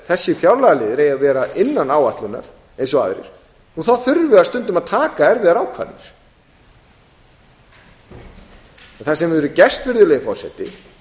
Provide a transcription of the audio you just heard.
þessir fjárlagaliðir eigi að vera innan áætlunar eins og aðrir þurfum við stundum að taka erfiðar ákvarðanir það sem hefur gerst virðulegi forseti